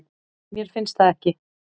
Mér finnst það ekki